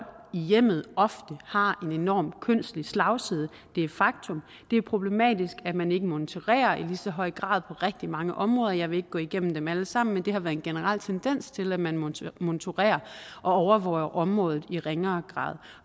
i hjemmet ofte har en enorm kønslig slagside det er et faktum det er problematisk at man ikke monitorerer i lige så høj grad på rigtig mange områder jeg vil ikke gå igennem dem alle sammen men der har været en generel tendens til at man monitorerer og overvåger området i ringere grad